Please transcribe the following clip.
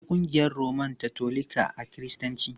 Akwai ƙungiyar Roman Katolika a Kiristanci.